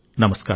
నమస్కారం